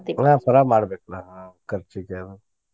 ಹಾ ಪಳಾರ ಮಾಡ್ಬೇಕ್ ಅಲ್ಲಾ ಆಹ್ ಆಹ್ ಕರ್ಚಿಕಾಯಿ.